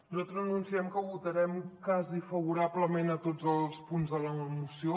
nosaltres anunciem que votarem quasi favorablement a tots els punts de la moció